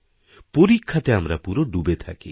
পরীক্ষাতে আমরা পুরো ডুবে থাকি